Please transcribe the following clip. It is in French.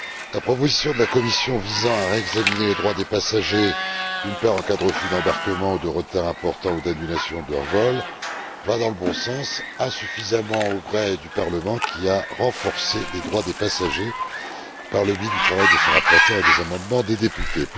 La proposition de la Commission visant à examiner les droits des passagers en cas de refus d'embarquement, de retard important ou d'annulation de leur vol va dans le bon sens, mais insuffisamment au gré du Parlement, qui a renforcé les droits des passagers par le biais du travail de son rapporteur et des amendements des députés.